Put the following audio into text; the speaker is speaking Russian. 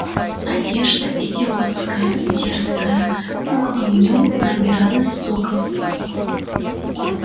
надежда идиотская дерзкая пухла в нем набиралась соков